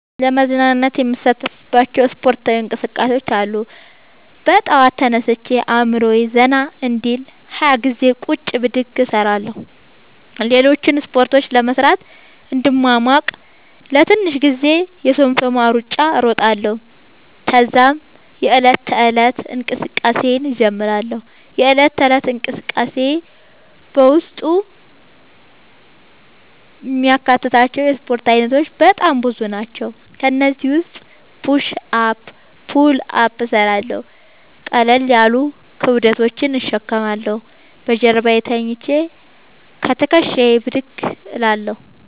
ለመዝናናት የምሣተፍባቸዉ እስፖርታዊ እንቅስቃሤዎች አሉ። በጠዋት ተነስቼ አእምሮየ ዘና እንዲል 20ገዜ ቁጭ ብድግ እሰራለሁ። ሌሎችን እስፖርቶች ለመሥራት እንድሟሟቅ ለትንሽ ጊዜ የሶምሶማ እሩጫ እሮጣለሁ። ተዛም የዕለት ተለት እንቅስቃሴየን እጀምራለሁ። የእለት ተለት እንቅስቃሴየም በውስጡ የሚያካትታቸዉ የእስፖርት አይነቶች በጣም ብዙ ናቸዉ። ከእነዚህም ዉስጥ ፑሽ አፕ ፑል አፕ እሠራለሁ። ቀለል ያሉ ክብደቶችን እሸከማለሁ። በጀርባየ ተኝቸ ከትክሻየ ብድግ እላለሁ።